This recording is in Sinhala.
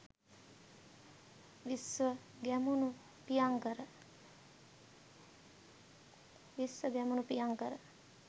විශ්ව ගැමුණු ප්‍රියංකර